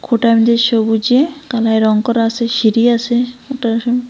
সবুজে কালারে রঙ করা আসে সিঁড়ি আসে ।